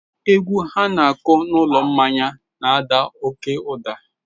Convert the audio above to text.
Egwu ha na-akụ n'ụlọ mmanya n'ada oke ụda.